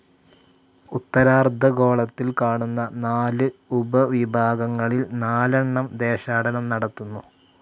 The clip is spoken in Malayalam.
ഉത്തരാർദ്ധഗോളത്തിൽ കാണുന്ന നാലു ഉപവിഭാഗങ്ങളിൽ നാലെണ്ണം ദേശാടനം നടത്തുന്നു.